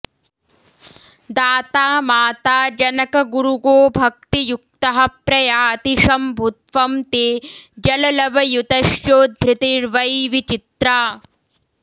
दाता माता जनकगुरुगोभक्तियुक्तः प्रयाति शम्भुत्वं ते जललवयुतश्चोद्धृतिर्वै विचित्रा